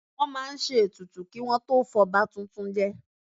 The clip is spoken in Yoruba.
Wọ́n máa ń ṣe ètùtù kí wọn tó fọba tuntun jẹ